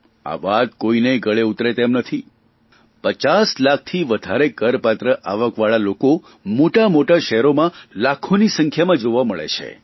આ વાત કોઇનાયે ગળે ઉતરે તેમ નથી પચાસ લાખથી વધારે કરપાત્ર આવકવાળા લોકો મોટાં મોટાં શહેરોમાં લાખોની સંખ્યામાં જોવા મળે છે